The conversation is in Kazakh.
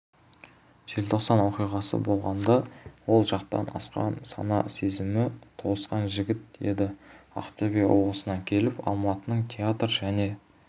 желтоқсан оқиғасы болғанда ол жастан асқан сана-сезімі толысқан жігіт еді ақтөбе облысынан келіп алматының театр және